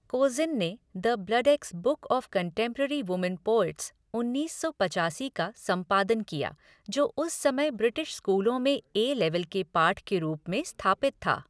कोज़िन ने the Bloodaxe book of contemporary women poets, उन्नीस सौ पचासी का संपादन किया, जो उस समय ब्रिटिश स्कूलों में ए लेवल के पाठ के रूप में स्थापित था।